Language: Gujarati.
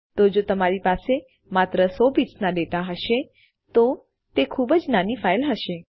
તો જો તમારી પાસે માત્ર સો બિટ્સના ડેટા હશે તો તે ખૂબ જ નાની ફાઈલ હશે